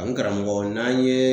N karamɔgɔ n'an ye